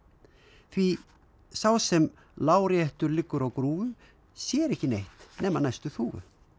því sá sem láréttur liggur á grúfu sér ekki neitt nema næstu þúfu